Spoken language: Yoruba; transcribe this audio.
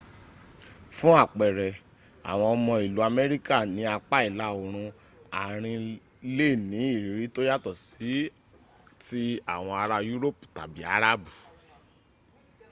fun apere awon omo ilu amerika ni apa ila orun arin le ni iriri to yato si ti awon ara yuropi tabi arabu